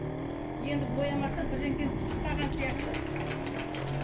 енді боямасам түсіп қалған сияқты